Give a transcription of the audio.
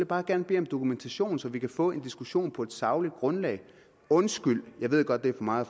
bare gerne bede om dokumentation så vi kan få en diskussion på et sagligt grundlag undskyld jeg ved godt det er for meget